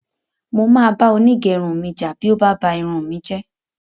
Mo máa bá onígẹrun mi jà bí ó bá ba irun mi jẹ́